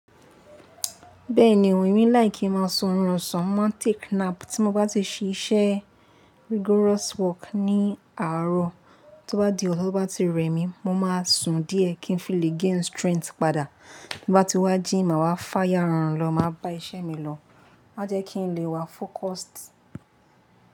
Bẹ́ẹ̀ni òun, èmi láì kí máa sun orun má take nap tí mo bá ti ṣe iṣẹ́ rigorous work ní àárọ̀. Tí ó bá di ọ̀san ti o bá ti rẹ mi, mo máa sùn díẹ̀ kí n filè gain strength padà. Ti Mo bá ti wá jíì, màá wá fá yà ran lọ, màá bá iṣẹ́ mi lọ. Ma jẹ́ kí n lè wà focused.